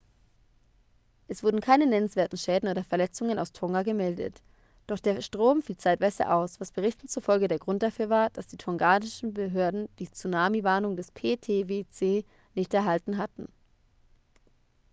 es wurden keine nennenswerten schäden oder verletzungen aus tonga vermeldet doch der strom fiel zeitweise aus was berichten zufolge der grund dafür war dass die tongaischen behörden die tsunami-warnung des ptwc nicht erhalten hatten